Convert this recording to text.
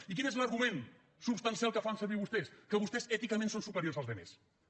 i quin és l’argument substancial que fan servir vostès que vostès èticament són superiors a la resta